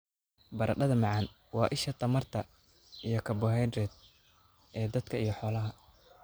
Baradhada macaan: Waa isha tamarta iyo karbohaydrayt ee dadka iyo xoolaha.